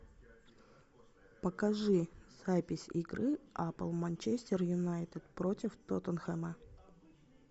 покажи запись игры апл манчестер юнайтед против тоттенхэма